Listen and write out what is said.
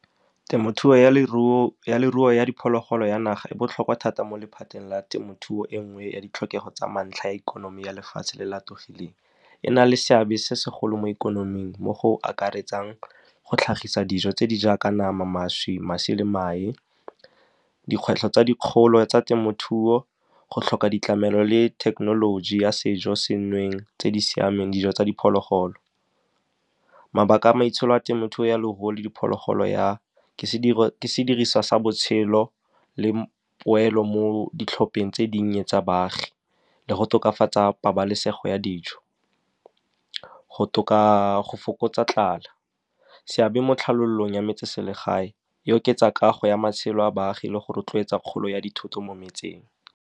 Temothuo ya leruo ya diphologolo ya naga e botlhokwa thata mo lephateng la temothuo e nngwe ya ditlhokego tsa mantlha a ikonomi ya lefatshe le le atogileng. E na le seabe se segolo mo ikonoming, mo go akaretsang go tlhagisa dijo tse di jaaka nama, mašwi le mae. Dikgwetlho tse dikgolo tsa temothuo go tlhoka ditlamelo le thekenoloji ya sejo senweng tse di siameng, dijo tsa diphologolo. Mabaka a maitsholo a temothuo ya leruo le diphologolo ke sediriswa sa botshelo le poelo mo ditlhopheng tse dinnye tsa baagi le go tokafatsa pabalesego ya dijo, go fokotsa tlala. Seabe mo tlhalolong ya metseselegae e oketsa kago ya matshelo a baagi le go rotloetsa kgolo ya dithoto mo metseng.